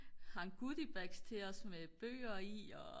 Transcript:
hang goodie bags med bøger i og